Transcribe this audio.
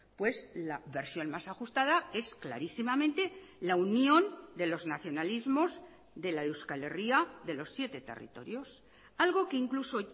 pues la versión más ajustada es clarísimamente la unión de los nacionalismos de la euskal herria de los siete territorios algo que incluso